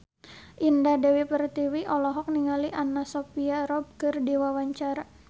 Indah Dewi Pertiwi olohok ningali Anna Sophia Robb keur diwawancara